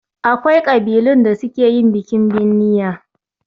Akwai ƙabilun da suke yin bikin binniya